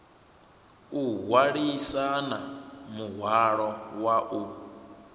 o hwalisana muhwalo wa u